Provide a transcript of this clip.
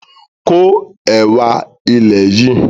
Ko ẹwà ilẹ̀ yìí!